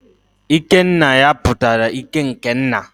ikenaya pụtara ike n'ke nna